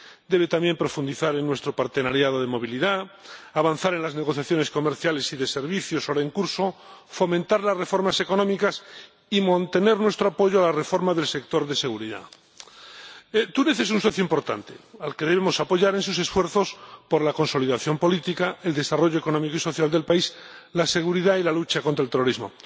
Debe, también, profundizar en nuestra asociación de movilidad, avanzar en las negociaciones comerciales y de servicios ahora en curso, fomentar las reformas económicas y mantener nuestro apoyo a la reforma del sector de seguridad. Túnez es un socio importante, al que debemos apoyar en sus esfuerzos por la consolidación política, el desarrollo económico y social del país, la seguridad y la lucha contra el terrorismo.